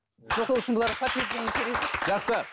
сол үшін бұларға подтверждение керек жоқ жақсы